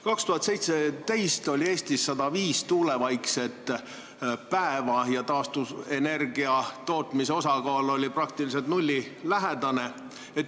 2017. aastal oli Eestis 105 tuulevaikset päeva ja taastuvenergia tootmise osakaal oli nullilähedane.